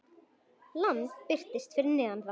Land birtist fyrir neðan þá.